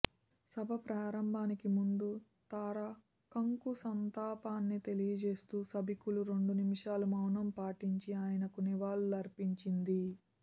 సభ ప్రారంభానికి ముందు తార కంకు సంతాపాన్ని తెలియజేస్తూ సభికులు రెండు నిమిషాలు మౌనం పాటించి ఆయనకు నివాళులు అర్పించింది